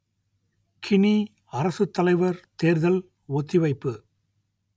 Guinea அரசுத்தலைவர் தேர்தல் ஒத்திவைப்பு